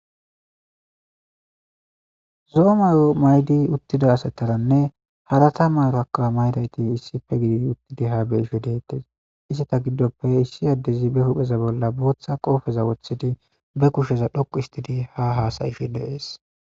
Zo'o mayo maydi uttida asataranne harata maaro akkaa maydayti issife gidi uttidi ha be ishe deettes iseta giddoppe issi addezi be hupheza bolla booththa qoofeza woththidi be kusheza dhoqu istidi ha haasayifi deees.